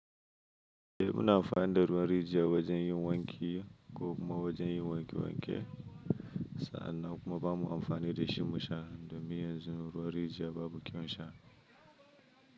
Eh muna amfani da ruwan rijiya wajen yin wanki ko kuma wajen yin wanke wanke sannan kuma ba mu amfani da shi mu sha domin yanzu ruwan rijiya babu kya wun shan.